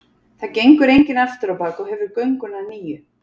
Það gengur enginn aftur á bak og hefur gönguna að nýju.